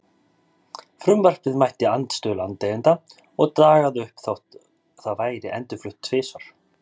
Frumvarpið mætti andstöðu landeigenda og dagaði uppi þótt það væri endurflutt tvisvar.